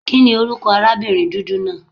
Kíni orúkọ arábìnrin dúdú náà?